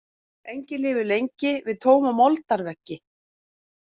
Engin lifir lengi við tóma moldarveggi.